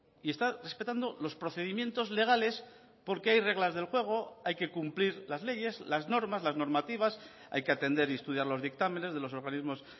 y está respetando los procedimientos legales porque hay reglas del juego hay que cumplir las leyes las normas las normativas hay que atender y estudiar los dictámenes de los organismos